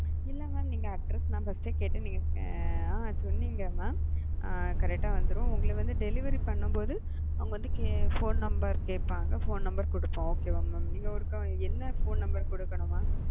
இல்ல mam address நான் first ஏ கேட்டேன் நீங்க அ சொன்னீங்க mam correct ஆ வந்துரும் உங்கள வந்து delivery பண்ணும்போது அவங்க வந்து phone number கேப்பாங்க phone number குடுப்போம் okay mam? நீங்க ஒருக்கா வந்து என்னா phone number கொடுக்கணும் mam?